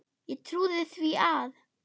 Ég trúði því að